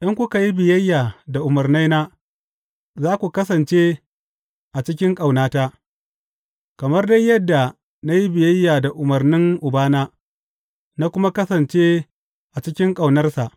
In kuka yi biyayya da umarnaina, za ku kasance a cikin ƙaunata, kamar dai yadda na yi biyayya da umarnan Ubana na kuma kasance a cikin ƙaunarsa.